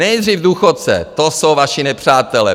Nejdřív důchodce, to jsou vaši nepřátelé.